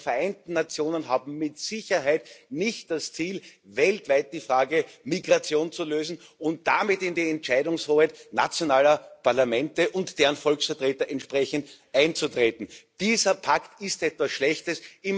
Aber die Vereinten Nationen haben mit Sicherheit nicht das Ziel, weltweit die Frage der Migration zu lösen und damit in die Entscheidungshoheit nationaler Parlamente und von deren Volksvertretern entsprechend einzugreifen. Dieser Pakt ist etwas Schlechtes